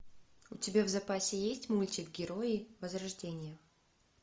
у тебя в запасе есть мультик герои возрождение